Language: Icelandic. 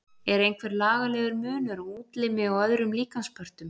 Er einhver lagalegur munur á útlimi og öðrum líkamspörtum?